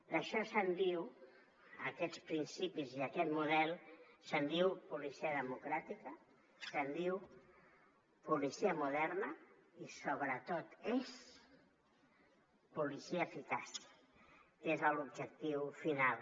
d’això se’n diu d’aquests principis i d’aquest model se’n diu policia democràtica se’n diu policia moderna i sobretot és policia eficaç que és l’objectiu final